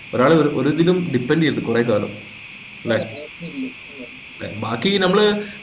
ഒരാള് ഒരു ഇതിലും depend ചെയ്യരുത് കൊറേ കാലം ല്ലേ ഏർ ബാക്കി നമ്മള്